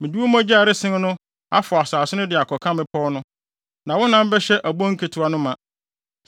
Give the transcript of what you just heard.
Mede wo mogya a ɛresen no afɔw asase no de akɔka mmepɔw no na wo nam bɛhyɛ abon nketewa no ma.